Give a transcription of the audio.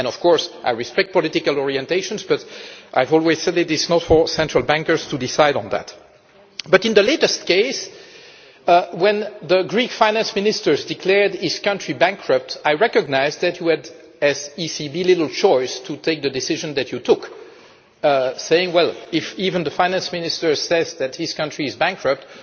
Of course I respect political orientations but I have always said that it was not for central bankers to decide on that. But in the latest case, when the Greek Finance Minister declared his country bankrupt, I recognised that you, as the ECB, had little choice but to take the decision that you took saying, well, if the finance minister says that his country is bankrupt,